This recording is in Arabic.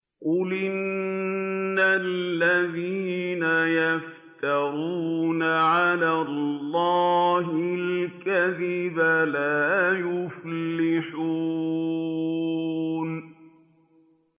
قُلْ إِنَّ الَّذِينَ يَفْتَرُونَ عَلَى اللَّهِ الْكَذِبَ لَا يُفْلِحُونَ